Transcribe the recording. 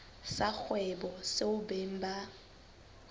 sa kgwebo seo beng ba